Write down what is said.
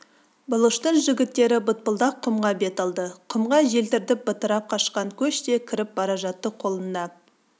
бұлыштың жігіттері бытпылдақ құмға бет алды құмға желдіртіп бытырап кашқан көш те кіріп бара жатты қолында